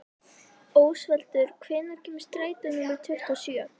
Ósvaldur, hvenær kemur strætó númer tuttugu og sjö?